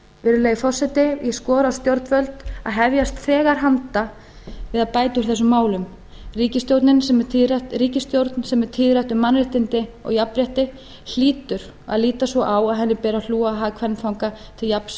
virðulegi forseti ég skora á stjórnvöld að hefjast þegar handa við að bæta úr þessum málum ríkisstjórn sem er tíðrætt um mannréttindi og jafnrétti hlýtur að líta svo á að henni beri að hlúa að hag kvenfanga til jafns